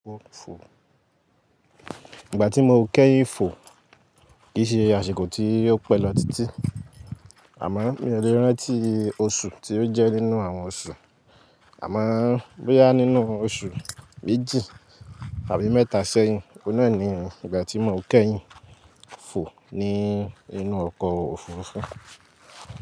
Ìgbà tí mo kẹ́yìn fò kì í ṣe aṣèkọ̀ tí yó pẹ̀ lọ títí, àmọ́ mi ò lè rántí oṣù tí ó jẹ́ nínú àwọn oṣù. Àmọ́ bóyá nínú oṣù méjì tàbí mẹ́ta sẹ́yìn, ọ̀nà ni ìgbà tí mo kẹ́yìn fò ní inú ọkọ̀ òfurufú.